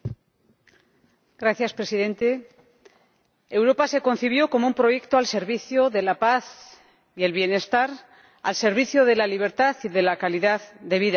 Señor Presidente, Europa se concibió como un proyecto al servicio de la paz y del bienestar, al servicio de la libertad y de la calidad de vida.